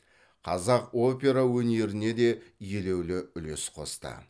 қазақ опера өнеріне де елеулі үлес қосты